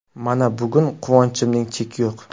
Mana, bugun quvonchimning cheki yo‘q.